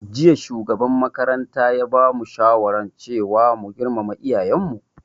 Jiya shugaban makaranta ya bamu shawaran cewa mu girmama iyayen mu